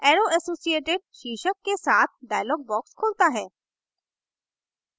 arrow associated शीर्षक के साथ dialog box खुलता है